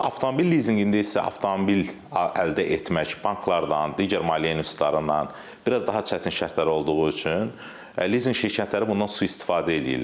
Avtomobil lizinqində isə avtomobil əldə etmək banklardan, digər maliyyə institutlarından, biraz daha çətin şərtlər olduğu üçün lizinq şirkətləri bundan sui-istifadə eləyirlər.